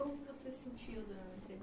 Como você sentiu dando a entrevista?